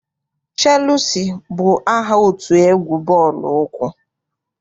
Cheelusi bụ aha otu egwu bọọlụ ụkwụ.